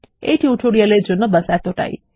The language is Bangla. এই টিউটোরিয়ালের জন্ন্য ব্যাশ এতটাই